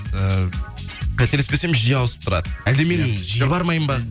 ыыы қателеспесем жиі ауысып тұрады әлде мен жиі бармаймын ба